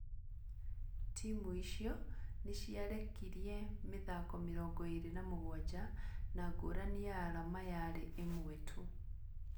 Timu icio nĩ ciarekirie mĩthako 27, na ngũrani ya arama yaarĩ ĩmwe tu.